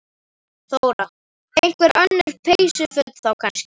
Þóra: Einhver önnur peysuföt þá kannski?